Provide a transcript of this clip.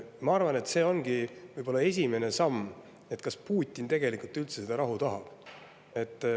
Ma arvan, et see ongi võib-olla esimene samm, et kas Putin tegelikult üldse seda rahu tahab.